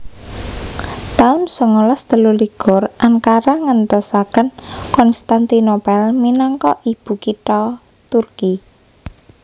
taun songolas telulikur Ankara nggentosaken Konstantinopel minangka ibukitha Turki